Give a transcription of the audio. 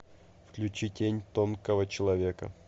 включи тень тонкого человека